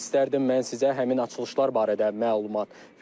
İstərdim mən sizə həmin açılışlar barədə məlumat verim.